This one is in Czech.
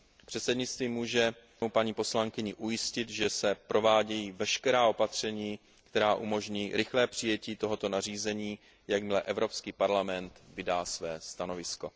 Předsednictví může paní poslankyni ujistit, že se provádějí veškerá opatření, která umožní rychlé přijetí tohoto nařízení, jakmile Evropský parlament vydá své stanovisko.